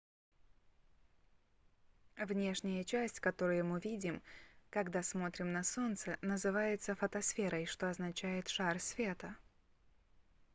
внешняя часть которую мы видим когда смотрим на солнце называется фотосферой что означает шар света